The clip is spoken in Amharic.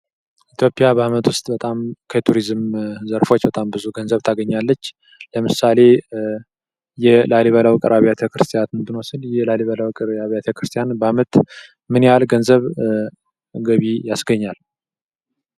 ኢትዮጵያ በአመት ውስጥ በጣም ከቱሪዝም ዘርፎች በጣም ብዙ ገንዘብ ታገኛለች። ለምሳሌ የላሊበላ ውቅር አብያተ ክርስቲያናት ብንወስድ የላሊበላ ውቅር አብያተ ክርስቲያናት በአመት ምን ያህል ገቢ ያስገኛል?